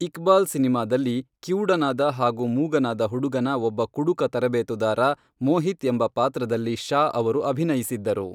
ಇಕ್ಬಾಲ್ ಸಿನಿಮಾದಲ್ಲಿ ಕಿವುಡನಾದ ಹಾಗೂ ಮೂಗನಾದ ಹುಡುಗನ ಒಬ್ಬ ಕುಡುಕ ತರಬೇತುದಾರ, ಮೋಹಿತ್ ಎಂಬ ಪಾತ್ರದಲ್ಲಿ ಶಾ ಅವರು ಅಭಿನಯಿಸಿದ್ದರು.